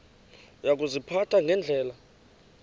uya kuziphatha ngendlela